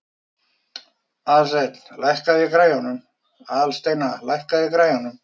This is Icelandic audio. Aðalsteina, lækkaðu í græjunum.